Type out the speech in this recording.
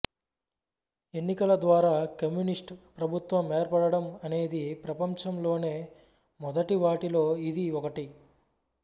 ఎన్నికలద్వారా communist ప్రభుత్వం ఏర్పడడం అనేది ప్రపంచంలోనే మొదటివాటిలో ఇది ఒకటి